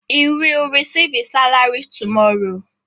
He will receive his salary tomorrow.